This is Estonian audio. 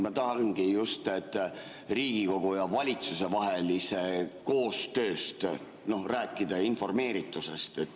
Ma tahangi just Riigikogu ja valitsuse vahelisest koostööst rääkida, informeeritusest.